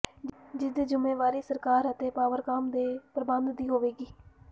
ਜਿਸ ਦੀ ਜਿੰਮੇਵਾਰੀ ਸਰਕਾਰ ਅਤੇ ਪਾਵਰਕਾਮ ਦੇ ਪ੍ਰਬੰਧ ਦੀ ਹੋਵੇਗੀ